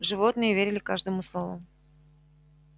животные верили каждому слову